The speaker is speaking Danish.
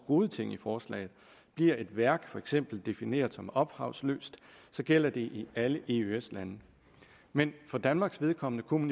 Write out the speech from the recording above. gode ting i forslaget bliver et værk for eksempel defineret som ophavsløst gælder det i alle eøs lande men for danmarks vedkommende kunne